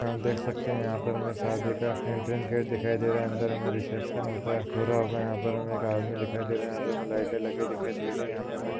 आप देख सकते है यहाँ पर हमे शादी का एंटरन्स गेट दिखाई दे रहा अंदर हमे रिसेप्शन होता पूरा हुआ यहाँ पर हमे एक आदमी दिखाई दे रहा है। यहाँ पे हमे लाईटे लगे दिखाई दे रही यहाँ पर हमे--